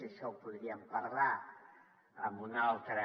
això ho podríem parlar en una altra